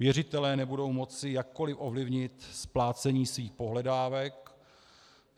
Věřitelé nebudou moci jakkoli ovlivnit splácení svých pohledávek.